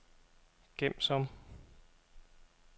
gem som